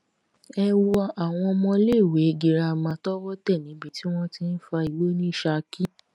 ẹ wo àwọn ọmọọléèwé girama tọwọ tẹ níbi tí wọn ti ń fa igbó ní saki